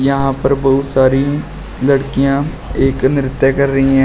यहां पर बहुत सारी लड़कियां एक नृत्य कर रही हैं।